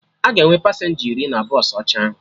Aga enwe pasenja iri na bọsụ ọcha ahụ